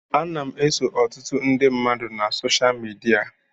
Ana m eso ọtụtụ ndị mmadụ na soshal midia.